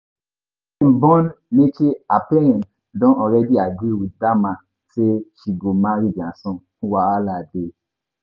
Before dem born Neche her parents don already agree with dat man say she go marry dia son, wahala dey